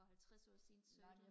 for halvtreds år siden